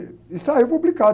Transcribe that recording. E, e saiu publicado.